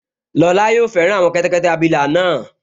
Lọla yóò fẹ́ràn àwọn kẹ́tẹ́kẹ́tẹ́ abilà náà